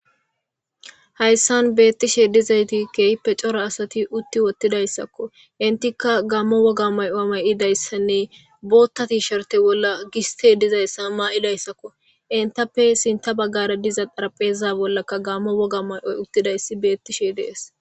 hayssan beettishe dizayti kehippe coro asati utti wottidayssakko intikka gammo woga may7o may7idayssanne bootta tishorte bolla giste dizayssa maa7idayssakko intappe sinta baggara diza xarapheza bollaka gammo woga may7oy uttidayssi beettishe dees